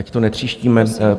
Ať to netříštíme.